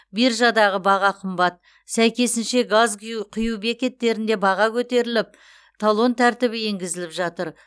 биржадаға баға қымбат сәйкесінше газ гю құю бекеттерінде баға көтеріліп талон тәртібі енгізіліп жатыр